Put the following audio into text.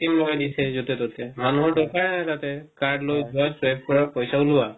machine যতে ততে মানুহৰ দৰকাৰ তাতে card লই যোৱা swipe কৰা আৰু পইচা উলোৱা